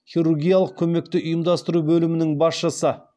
хирургиялық көмекті ұйымдастыру бөлімінің басшысы